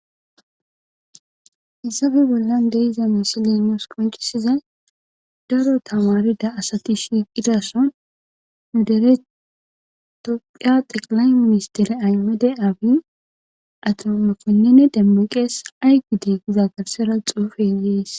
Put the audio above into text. hayssafe bollan de7iza misilen nus qonccissiza daro tamaarida asati shiiqida sohon nu dere toophiya xeqlay ministeriya ahmede abiy ato mokonine demeqe ay gide gida garssera xuufe de7ees.